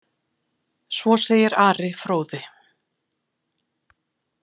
Svo segir Ari fróði.